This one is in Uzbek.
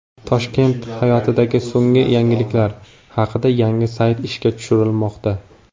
Toshkent hayotidagi so‘nggi yangiliklar haqida yangi sayt ishga tushirilmoqda.